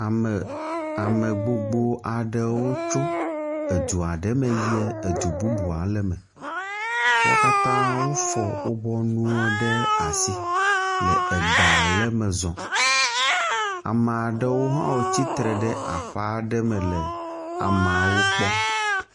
Ame, ame gbogbo aɖewo tso edu aɖe me yi edu bubu aɖe, me wo katã wofɔ woƒe nuwo ɖe asi le egba le me zɔm, ama ɖewo hã tsitre ɖe aƒe aɖe me le ameawo kpɔm.